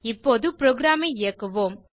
இப்போது புரோகிராம் ஐ இயக்குவோம்